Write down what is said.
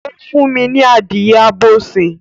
O fún mi ní adìye abo sin